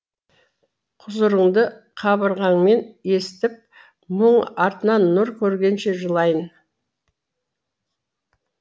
құзырыңды қабырғаммен есітіп мұң артынан нұр көргенше жылайын